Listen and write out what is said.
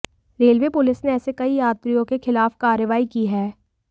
railway police ने ऐसे कई यात्रियों के खिलाफ कार्रवाई की है